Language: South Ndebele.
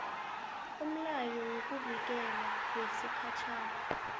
umlayo wokuvikelwa wesikhatjhana